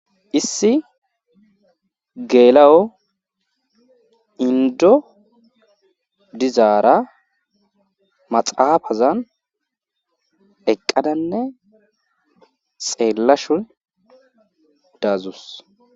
Issi geela'o Indo dizara maxafazan eqadanne xelashun dadusi.